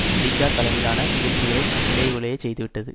America தலைமையிலான முயற்சிகளை நிலைகுலைய செய்துவிட்டது